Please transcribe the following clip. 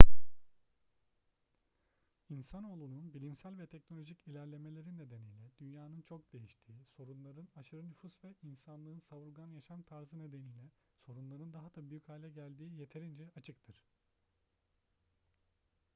i̇nsanoğlunun bilimsel ve teknolojik ilerlemeleri nedeniyle dünyanın çok değiştiği sorunların aşırı nüfus ve insanlığın savurgan yaşam tarzı nedeniyle sorunların daha da büyük hale geldiği yeterince açıktır